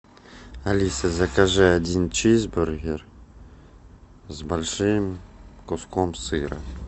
алиса закажи один чизбургер с большим куском сыра